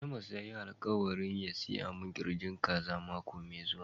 Amos ya yi alkawali ya siya min kirjin kaza mako me zuwa.